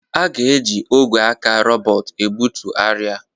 A ga-eji ogwe aka robot ebutu arịa.